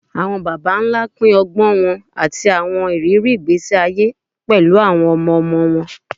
Awọn baba nla pin ọgbọn wọn ati awọn iriri igbesi aye pẹlu awọn ọmọ-ọmọ wọn